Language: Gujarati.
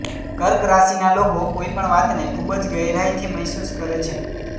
કર્ક રાશિના લોકો કોઈ પણ વાતને ખૂબ જ ગહેરાઈથી મહેસૂસ કરે છે